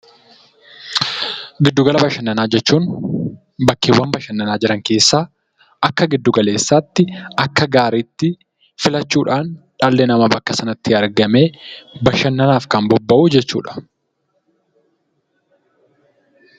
Giddu-gala bashannanaa jechuun bakkeewwan bashannanaa jiran keessaa akka giddu-galeessaatti, akka gaariitti filachuudhaan dhalli namaa bakka sanatti argamee bashannanaaf kan bobba'u jechuudha.